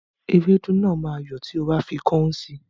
Ewédú náà máa yọ́ tí o bá fi kọ́ún sí